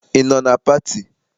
Ị nọ na pati?